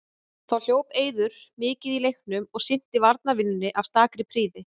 Þá hljóp Eiður mikið í leiknum og sinnti varnarvinnunni af stakri prýði.